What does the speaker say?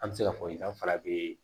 An bɛ se k'a fɔ i danfara bee